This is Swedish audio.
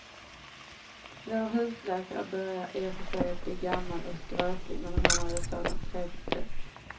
Vår husläkare börjar i och för sig bli gammal och skröplig, men han har ju ett sådant trevligt sätt!